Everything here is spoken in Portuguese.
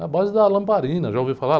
Na base da lamparina, já ouviu falar?